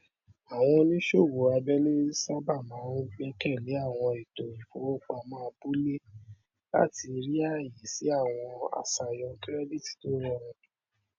àwọn oníṣòwò abẹẹlé sábà máa ń gbẹkẹlé àwọn ètò ìfowópamọ abúlé láti rí ààyè sí àwọn aṣàyàn kirẹdìtì tó rọrùn